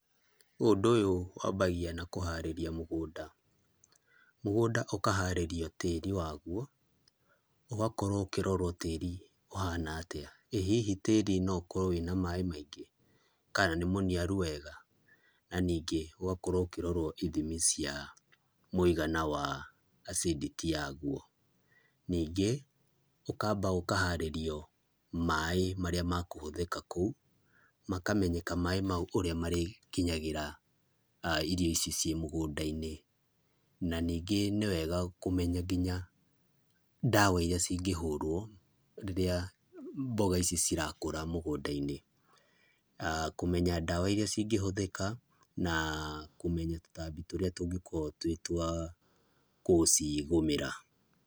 Ũndũ ũyũ wambagia na kũharĩria mũgũnda, mũgũnda ũkaharĩrio tĩri waguo. Ũgakorwo ũkĩrorwo tĩri ũhana atia, ĩ hihi tĩri no ũkorwo wĩna maaĩ maingĩ, kana nĩ mũniaru wega? Na ningĩ ũgakorwo ũkĩrorwo ithimi cia mũigana wa acidity yaguo. Ningĩ ũkamba ũkaharĩrio maaĩ maria makũhũthĩka kũu, makamenyeka maaĩ mau ũrĩa marĩkinyagĩra irio ici ciĩ mũgũndainĩ, na ningĩ nĩ wega kũmenya nginya ndawa iria cingĩhũrwo rĩrĩa mboga ici cirakũra mũgũndainĩ. Kũmenya ndawa iria cingĩhũthĩka na kũmenya tũtambi tũrĩa tũngĩkorwo twĩ twa gũcigũmĩra.